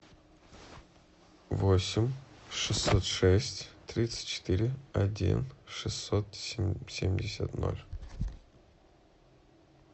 восемь шестьсот шесть тридцать четыре один шестьсот семьдесят нол